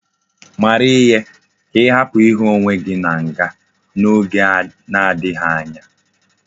Mara ihe! ka ihapu ihu onwe gi na nga na oge na adighi anya!